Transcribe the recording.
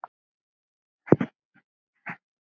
Það er sárt.